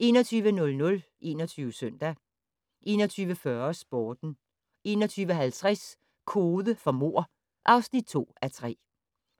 21:00: 21 Søndag 21:40: Sporten 21:50: Kode for mord (2:3)